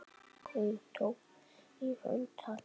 Hún tók í hönd hans.